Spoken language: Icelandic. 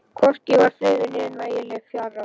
Hvorki var friður né nægileg fjárráð.